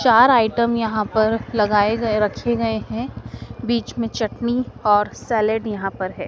चार आइटम यहां पर लगाए गए रखे गए हैं बीच में चटनी और सैलड यहां पर है।